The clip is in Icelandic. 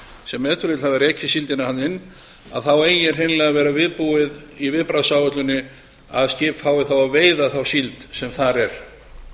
sem ef til vill hafa rekið síldina þarna inn þá eigi hreinlega að vera viðbúið í viðbragðsáætluninni að skip fái þá að veiða þá síld sem þar er